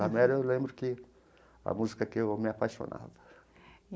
La Mer eu lembro que... a música que eu me apaixonava.